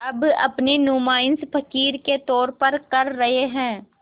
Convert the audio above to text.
अब अपनी नुमाइश फ़क़ीर के तौर पर कर रहे हैं